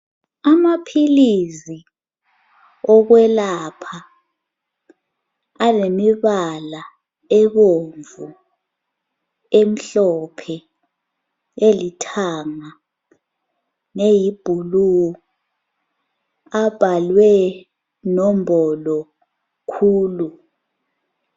Amaphilisi okwelapha alemibala ebomvu, emhlophe, elithanga leyi bhulu abhalwe nombolo khulu